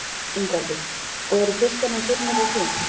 Ingveldur: Og eru fiskarnir hrifnir af því?